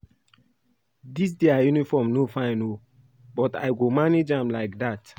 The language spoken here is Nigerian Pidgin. Dis their uniform no fine oo but I go manage am like dat